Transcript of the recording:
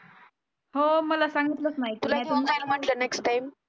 हो मला सांगितलंच नाही तुला घेऊन म्हटलं जाईल नेक्स्ट टाइम